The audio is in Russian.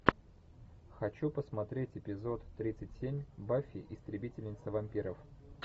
хочу посмотреть эпизод тридцать семь баффи истребительница вампиров